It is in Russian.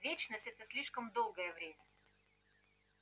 вечность это слишком долгое время